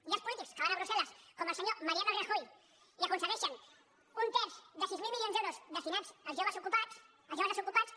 hi ha els polítics que van a brussel·les com el senyor mariano rajoy i aconsegueixen un terç de sis mil milions d’euros destinats als joves desocupats